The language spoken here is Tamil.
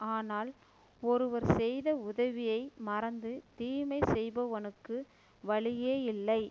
ஆனால் ஒருவர் செய்த உதவியை மறந்து தீமை செய்பவனுக்கு வழியே இல்லை